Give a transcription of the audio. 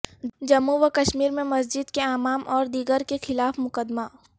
جموں و کشمیر میں مسجد کے امام اور دیگر کے خلاف مقدمہ